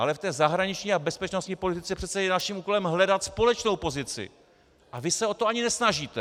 Ale v té zahraniční a bezpečnostní politice je přece naším úkolem hledat společnou pozici, a vy se o to ani nesnažíte.